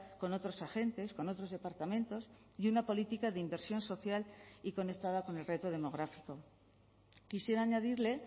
con otros agentes con otros departamentos y una política de inversión social y conectada con el reto demográfico quisiera añadirle